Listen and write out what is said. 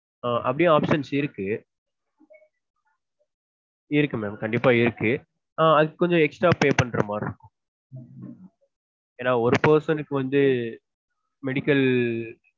ஆஹ் அப்ப்டியே options இருக்கு இருக்கு mam கண்டிப்பா இருக்கு ஆஹ் அதுக்கு கொஞ்சம் extra pay பண்ற மாதிரி இருக்கும் ஏன்னா ஒரு person க்கு வந்து medical